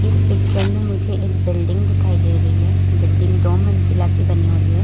इस पिक्चर में मुझे एक बिल्डिंग दिखाई दे रही है बिल्डिंग दो मंजिला की बनी हुई है।